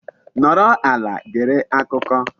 Nọrọ ala gere akụkọ.